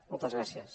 moltes gràcies